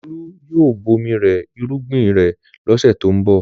Olú yóò bomi rẹ irúgbìn rẹ̀ lọ́sẹ̀ tó ń bọ̀.